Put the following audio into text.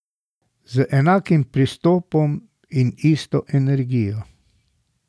Z enakim pristopom in isto energijo.